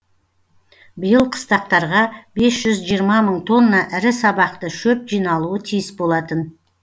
биыл қыстақтарға бес жүз жиырма мың тонна ірі сабақты шөп жиналуы тиіс болатын